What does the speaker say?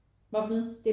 Hvad for noget?